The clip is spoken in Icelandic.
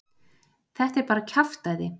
Þetta er bara kjaftæði.